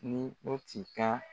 Ni o ti ka